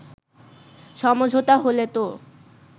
সমঝোতা হলে তো